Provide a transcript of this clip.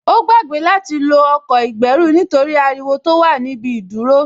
Ó gbàgbé láti lo ọkọ̀ ìgbẹ́rù nítorí ariwo tó wà ní ibi ìdúró